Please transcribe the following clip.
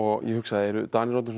ég hugsaði eru Danir orðnir svona